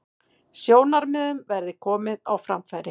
Sjónarmiðum verði komið á framfæri